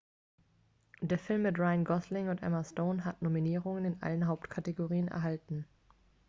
der film mit ryan gosling und emma stone hat nominierungen in allen hauptkategorien erhalten